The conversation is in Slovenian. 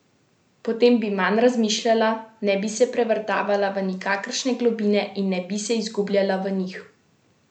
Potem bi manj razmišljala, ne bi se prevrtala v nikakršne globine in ne bi se zgubljala v njih.